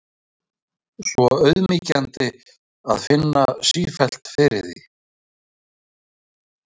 Svo auðmýkjandi að finna sífellt fyrir því.